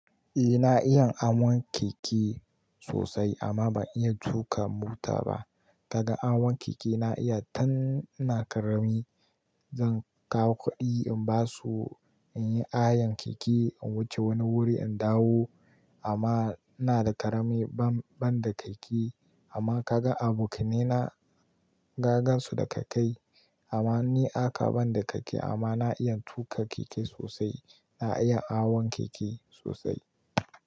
Ina iya hawan keke sosai amma ban iya tuka mota ba. Kagan hawan keke na iya tun ina karami. Zan kawo kuɗi in basu, in yi hayan keke, in wuce wani wuri in dawo amma ina da ƙarami ban da keke. Amma kaga aboka ne na, ka gan su da keke amma ni haka ban da keke amma na iya tuka keke sosai. Na iya awon keke sosai.